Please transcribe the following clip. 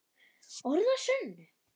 Orð að sönnu.